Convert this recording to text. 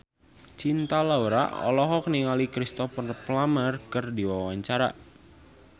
Cinta Laura olohok ningali Cristhoper Plumer keur diwawancara